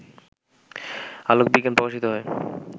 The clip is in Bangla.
আলোক বিজ্ঞান প্রকাশিত হয়